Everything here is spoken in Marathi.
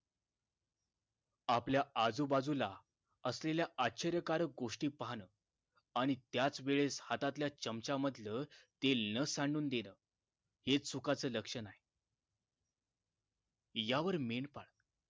आपल्या आजूबाजूला असलेल्या आश्चर्यकारक गोष्टी पाहणं आणि त्याच वेळेस हातातल्या चमच्यामधलं तेल सांडून देणं हे चुकाच लक्षण आहे यावर मेंढपाळ